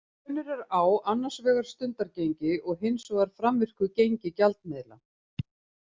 Munur er á annars vegar stundargengi og hins vegar framvirku gengi gjaldmiðla.